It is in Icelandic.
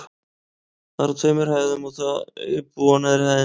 Það er á tveimur hæðum, og þau búa á neðri hæðinni.